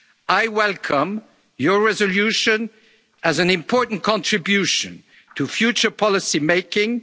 EU external border. I welcome your resolution as an important contribution to future